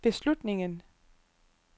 beslutningen